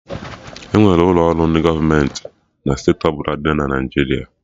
Enwere ụlọ ọrụ ndị gọọmenti na steeti ọbụla dị na Naijiria